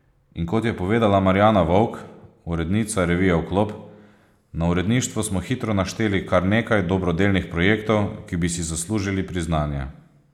In kot je povedala Marjana Vovk, urednica revije Vklop: "Na uredništvu smo hitro našteli kar nekaj dobrodelnih projektov, ki bi si zaslužili priznanje.